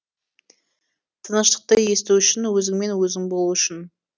тыныштықты есту үшін өзіңмен өзің болу үшін